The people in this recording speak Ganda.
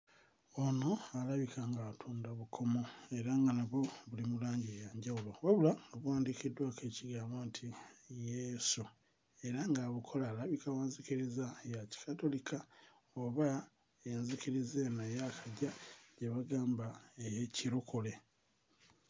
Ono alabika ng'atunda bukomo era nga nabwo buli mu langi ya njawulo wabula nga buwandiikiddwako ekigambo nti Yesu era ng'abukola alabika wa nzikiriza ya Kikatulika oba enzikiriza eno eyaakajja gye bagamba ey'Ekirokole.